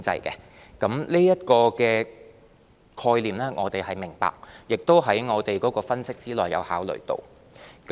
對於這個概念，我們是明白的，而且亦在我們分析和考慮之列。